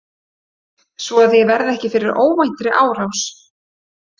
Svo að ég verði ekki fyrir óvæntri árás.